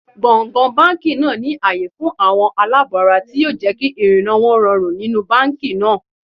Gbọ̀ǹgbọ̀ǹ báńkì náà ní àyè fún àwọn aláàbọ̀-ara tí yóò jẹ́ kí ìrìnnà wọn nínú báńkì náà.